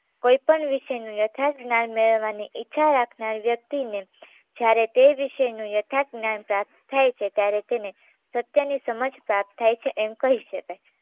કોઈ પણ વિષયનું યથાર્થ જ્ઞાન મેળવવાની ઈચ્છા રાખનાર વ્યક્તિને જ્યારે તે વિષયનું યથાર્થ જ્ઞાન પ્રાપ્ત થાય છે ત્યારે તેને સત્યની સમજ પ્રાપ્ત થાય છે એમ કહી શકાય